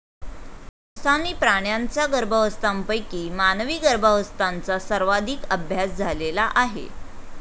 संस्थानी प्राण्यांचा गर्भावस्थांपैकी मानवी गर्भांवस्थांचा सर्वाधिक अभ्यास झालेला आहे.